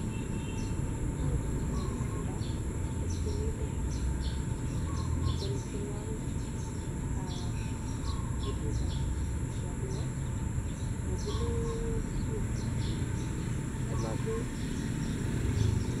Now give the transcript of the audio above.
Angeni Prince Indah kotienindet netieni temwogik ab kotit ab kijaluo akobunu Kisumu , Homa Bay